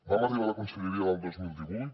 vam arribar a la conselleria l’any dos mil divuit